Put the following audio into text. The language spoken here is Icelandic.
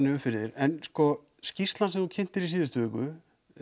upp fyrir þig en skýrslan sem þú kynntir í síðustu viku